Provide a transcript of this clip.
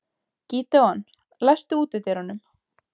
Gídeon, læstu útidyrunum.